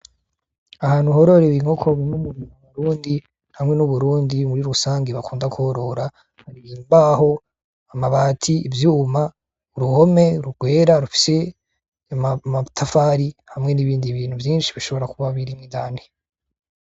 Ahantu horore ibinkokoimwe umuo murundi hamwe n'uburundi muri rusange bakunda kworora uri ibimbaho amabati ivyuma uruhome rugwera rufye y' mautafari hamwe n'ibindi bintu vyinshi bishobora kuba birimwidane.